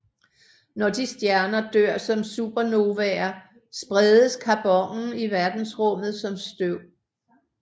Når de stjerner dør som supernovaer spredes carbonen i verdensrummet som støv